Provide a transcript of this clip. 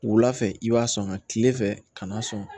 Wula fɛ i b'a sɔn ŋa tile fɛ ka n'a sɔn